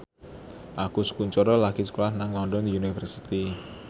Agus Kuncoro lagi sekolah nang London University